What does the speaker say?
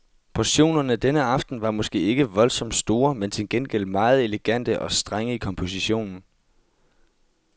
Portionerne denne aften var måske ikke voldsomt store, men til gengæld meget elegante og strenge i kompositionen.